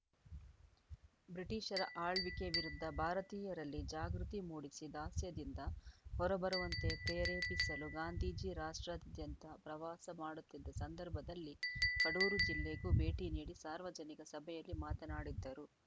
ಬ್ರಿಟೀಷರ ಆಳ್ವಿಕೆ ವಿರುದ್ಧ ಭಾರತೀಯರಲ್ಲಿ ಜಾಗೃತಿ ಮೂಡಿಸಿ ದಾಸ್ಯದಿಂದ ಹೊರಬರುವಂತೆ ಪ್ರೇರೇಪಿಸಲು ಗಾಂಧೀಜಿ ರಾಷ್ಟಾ್ರದ್ಯಂತ ಪ್ರವಾಸ ಮಾಡುತ್ತಿದ್ದ ಸಂದರ್ಭದಲ್ಲಿ ಕಡೂರು ಜಿಲ್ಲೆಗೂ ಭೇಟಿ ನೀಡಿ ಸಾರ್ವಜನಿಕ ಸಭೆಯಲ್ಲಿ ಮಾತನಾಡಿದ್ದರು